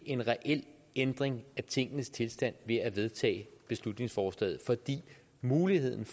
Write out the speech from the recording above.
en reel ændring af tingenes tilstand ved at vedtage beslutningsforslaget for muligheden